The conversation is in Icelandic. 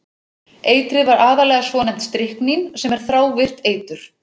Eitrið var aðallega svonefnt stryknín sem er þrávirkt eitur.